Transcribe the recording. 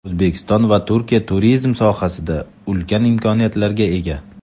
O‘zbekiston va Turkiya turizm sohasida ulkan imkoniyatlarga ega.